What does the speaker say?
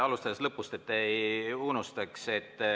Alustades lõpust, et ei unustaks.